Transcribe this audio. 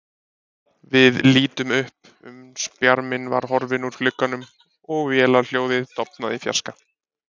Við litum upp, uns bjarminn var horfinn úr glugganum og vélarhljóðið dofnað í fjarska.